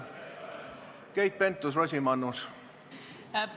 Keit Pentus- Rosimannus!